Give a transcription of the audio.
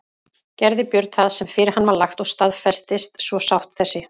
Gerði Björn það sem fyrir hann var lagt og staðfestist svo sátt þessi.